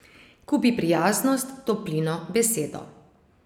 Kupi prijaznost, toplino, besedo.